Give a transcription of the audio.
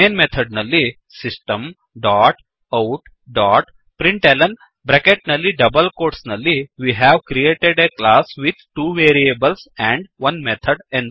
main method ನಲ್ಲಿ system ಡಾಟ್outಡಾಟ್println bracket ನಲ್ಲಿ ಡಬಲ್ ಕೋಟ್ಸ್ ನಲ್ಲಿ we have created a class with two variables and 1 method